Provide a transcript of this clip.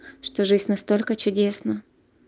что жизнь настолько чудесна